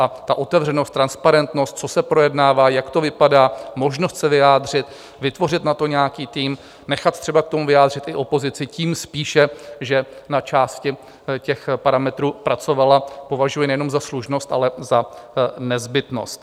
A tu otevřenost, transparentnost, co se projednává, jak to vypadá, možnost se vyjádřit, vytvořit na to nějaký tým, nechat třeba k tomu vyjádřit i opozici, tím spíše, že na části těch parametrů pracovala, považuji nejenom za slušnost, ale za nezbytnost.